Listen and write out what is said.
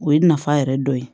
O ye nafa yɛrɛ dɔ ye